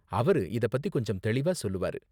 அவரு இத பத்தி கொஞ்சம் தெளிவா சொல்லுவாரு.